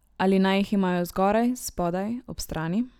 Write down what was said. Ali naj jih imajo zgoraj, spodaj, ob strani?